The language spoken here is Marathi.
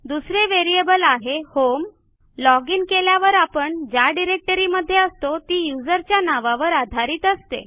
दुसरे व्हेरिएबल आहे होम लॉजिन केल्यावर आपण ज्या डिरेक्टरीमध्ये असतो ती userच्या नावावर आधारित असते